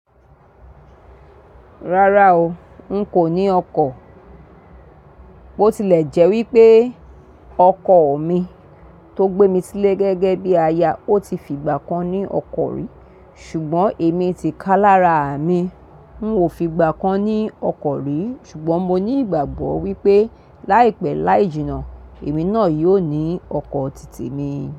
Rárá o, n kò ní ọkọ̀. Bo tilẹ̀ jẹ́ wípé ọkọ̀ mi tó gbé mi sílé gẹ́gẹ́ bí aya, ó ti fìgbà kan ní ọkọ̀ rí. Ṣùgbọ́n èmi ti kálá ra àmi. N ò fìgbà kan ní ọkọ̀ rí. Ṣùgbọ́n mo ní ìgbàgbọ́ wípé láìpẹ́ láì jìnnà, èmi náà yóò ní ọkọ̀ tì témi.